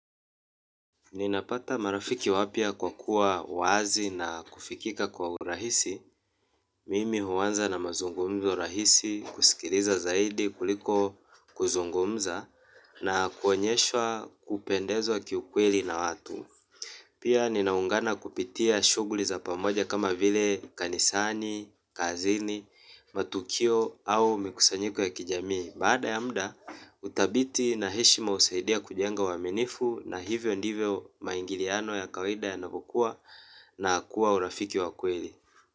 Ninapata marafiki wapya kwa kuwa wazi na kufikika kwa urahisi. Mimi huanza na mazungumzo rahisi, kusikiliza zaidi kuliko kuzungumza na kuonyeshwa kupendezwa kiukweli na watu. Pia ninaungana kupitia shuguli za pamoja kama vile kanisani, kazini, matukio au mikusanyiko ya kijamii. Baada ya muda, uthabiti na heshima husaidia kujenga uaminifu na hivyo ndivyo maingiliano ya kawida ya navyokua na kuwa urafiki wa kweli.